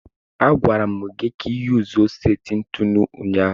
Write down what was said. A gwara m gi ka iyuzuo seti ntụnụ ụnyaahụ.